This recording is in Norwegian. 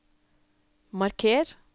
marker